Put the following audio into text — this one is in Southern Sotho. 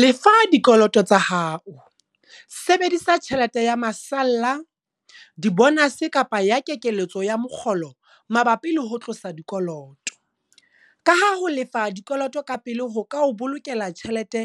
Lefa dikoloto tsa hao, sebedisa tjhelete ya masalla, dibonase kapa ya kekeletso ya mokgolo mabapi le ho tlosa dikoloto, kaha ho lefa dikoloto ka pele ho ka o bolokela tjhelete